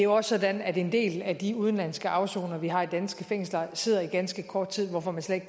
også sådan at en del af de udenlandske afsonere vi har i danske fængsler sidder der i ganske kort tid hvorfor man slet